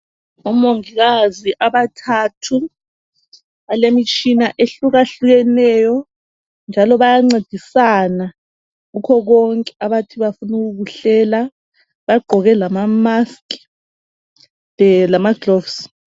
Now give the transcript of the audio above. Omongikazi abathathu balemitshina ehlukahlukeneyo njalo bayancedisana kukho konke abathi bafuna ukukuhlela. Bagqoke lama mask eeeh lama gloves.